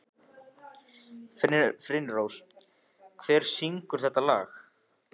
Finnrós, hver syngur þetta lag?